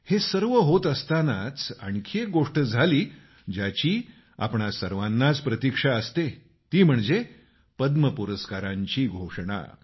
हे सर्व होत असतानाच आणखी एक गोष्ट झाली ज्याची आपणा सर्वांनाच प्रतिक्षा असतेआणि ती म्हणजे पद्म पुरस्कारांची घोषणा